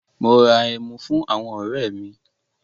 Mo ra ẹmu fún àwọn ọ̀rẹ́ mi.